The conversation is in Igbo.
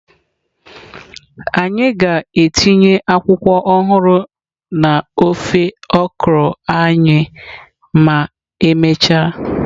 Anyị ga-etinye akwụkwọ ọhụrụ na ofe okra anyị ma emechaa.